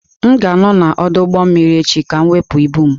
M ga-anọ n'ọdụ ụgbọ mmiri echi ka m wepụ ibu m.